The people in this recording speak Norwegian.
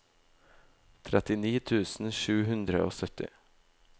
trettini tusen sju hundre og sytti